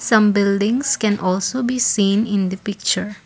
some buildings can also be seen in the picture.